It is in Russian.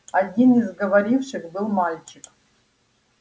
один из говоривших был мальчик